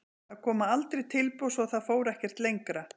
Það koma aldrei tilboð svo það fór ekkert lengra.